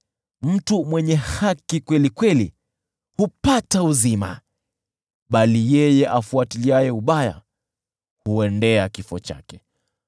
Mtu mwenye haki kweli kweli hupata uzima, bali yeye afuatiliaye ubaya huendea kifo chake.